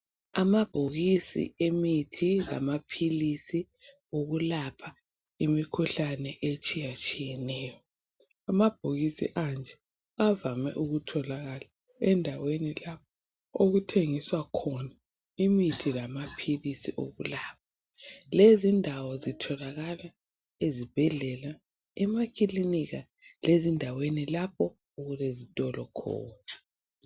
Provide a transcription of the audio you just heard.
Amabhokisi emithi lamaphilisi okulapha imikhuhlane etshiyatshiyeneyo. Amabhokisi anje avame ukutholakala endaweni la okuthengiswa khona imithi lama philisi okulapha. Lezi indawo zitholakala ezibhedlela, emakilini lezindaweni lapho okulezitolo khona.